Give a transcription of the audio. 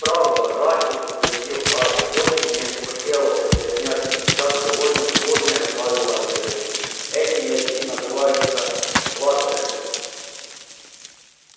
правда мрачно подтвердил гарри очень не хотелось объяснять сейчас довольно сложные правила игры эти мячи называются бладжеры